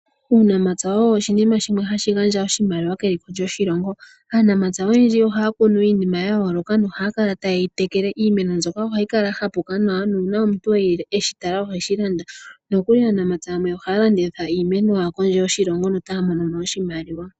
Uunamapya owo oshinima shimwe hashi gandja oshimaliwa keliko lyoshilongo . Aanamapya oyendji ohaya kunu iinima ya yooloka nohaya kala taye yi tekele. Iimeno mbyoka ohayi kala ya hapuka nawa nuuna omuntu eli eshi tala oheshi landa . Nokuli aanamapya yamwe ohaya landitha iimeno yawo kondje yoshilongo mono taya monomo oshimaliwa.